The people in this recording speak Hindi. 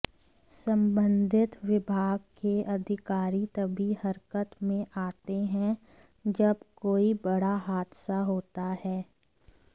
संबंधित विभाग के अधिकारी तभी हरकत में आते हैं जब कोई बड़ा हादसा होता है